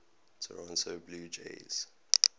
toronto blue jays